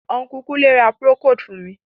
Unku Kunle ra procold fun mi.